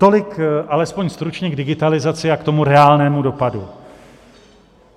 Tolik alespoň stručně k digitalizaci a k tomu reálnému dopadu.